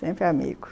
Sempre amigo.